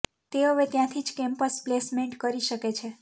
તે હવે ત્યાથી જ કેમ્પસ પ્લેસમેન્ટ કરી શકે છે